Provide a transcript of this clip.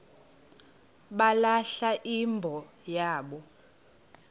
balahla imbo yabo